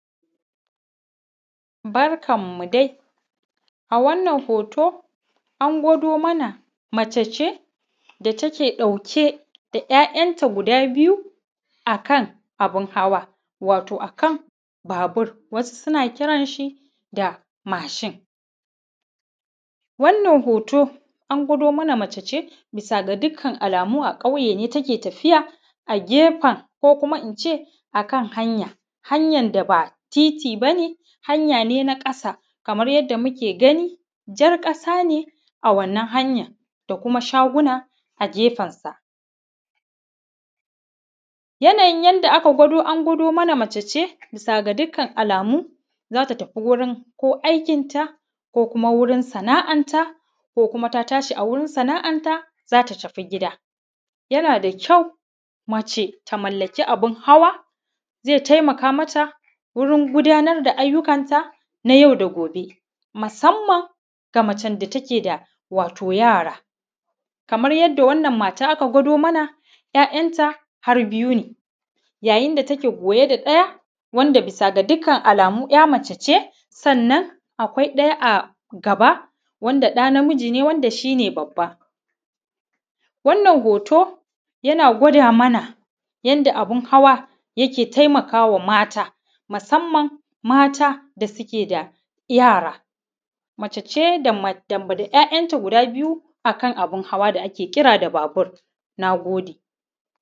Barkanmu dai a wannan hoto an gwado mana mace ce da take ɗauke da ‘ya’yanta guda biyu a kan abun hawa wato a kan babur wasu suna kiran shi da mashin, wannan hoto an gwado mana mace ce bisa ga dukkan alamu a ƙauye ne take tafiya a kefen ko kuma ince a kan hanya, hanya da ba titi bane hanya ne na kasa kamar yadda muke gani jar kasa ne a wannan hanyar da kuma shaguna a kefar sa, yanayin yadda aka gwado an gwado mana mace bisa ga dukkan alamu zata tafi gurin ko aikinta ko wurin sana’ar ta ko kuma ta tashi a gurin sana’ar ta zata tafi gida, yana da kyau mace da mallaki abun hawa zai taimaka mata gurin gudanar da ayyukan ta na yau da kullum musamman ga macen da take da yara, kamar yadda wannan mata aka gwado mana ‘ya’yanta har biyu ne, yayin da take goye da ɗaya wanda bisa ga dukkan alamu ‘ya mace ce sannan akwai ɗaya a gaba wanda ɗa na miji ne wanda shi ne babba, wannan hoto yana gwada mana yadda abun hawa yake taimaka wa mata musamman mata da suke da yara, mace ce da ‘ya’yanta guda biyu akan abun hawa da ake kira da babur, na gode.